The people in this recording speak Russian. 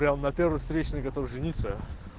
прямо на первой встречной готов жениться